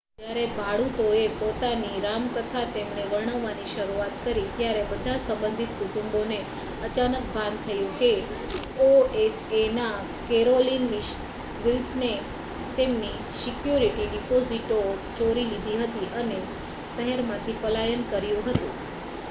જ્યારે ભાડૂતોએ પોતાની રામકથા તેમને વર્ણવવાની શરૂઆત કરી ત્યારે બધાં સંબંધિત કુટુંબોને અચાનક ભાન થયું કે ઓએચએના કેરોલિન વિલ્સને તેમની સિક્યુરિટી ડિપોઝિટો ચોરી લીધી હતી અને શહેરમાંથી પલાયન કર્યું હતું